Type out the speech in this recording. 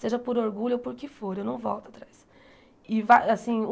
Seja por orgulho ou por que for, eu não volto atrás. E vai assim